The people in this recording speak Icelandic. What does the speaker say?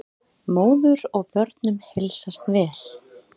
Móður og börnum heilsast vel.